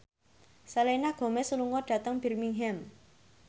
Selena Gomez lunga dhateng Birmingham